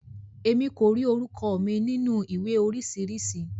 Emi ko ri orúkọ mi nínú ìwé oríṣiríṣi.